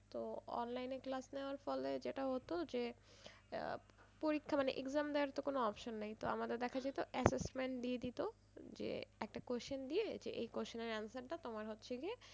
তো online এ class দেওয়ার ফলে যেটা হতো যে আহ পরীক্ষা মানে exam দেওয়ার তো কোনো option নেই তো আমাদের দেখা যেত assessment দিয়ে দিত যে একটা question দিয়ে যে এই question এর answer টা তোমার হচ্ছে গিয়ে,